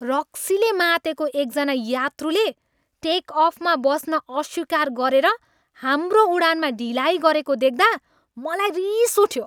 रक्सीले मातेको एक जना यात्रुले टेक अफमा बस्न अस्वीकार गरेर हाम्रो उडानमा ढिलाइ गरेको देख्दा मलाई रिस उठ्यो।